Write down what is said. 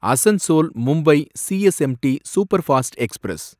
Asansol Mumbai CSMT superfast express